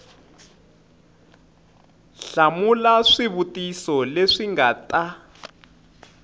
hlamula swivutiso leswi nga ta